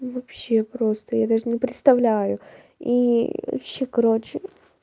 вообще просто я даже не представляю и вообще короче